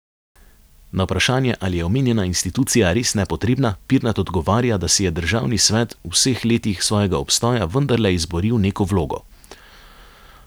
Na vprašanje, ali je omenjena institucija res nepotrebna, Pirnat odgovarja, da si je državni svet v vseh letih svojega obstoja vendarle izboril neko vlogo.